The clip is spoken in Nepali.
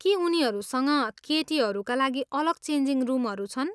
के उनीहरूसँग केटीहरूका लागि अलग चेन्जिङ रुमहरू छन्?